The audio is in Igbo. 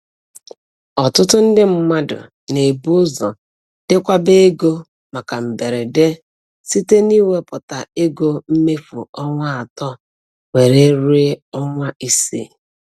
Ọtụtụ ndị mmadụ na-ebu ụzọ dekwaba ego maka mberede site n'iwepụta ego mmefu ọnwa atọ were ruo ọnwa isii.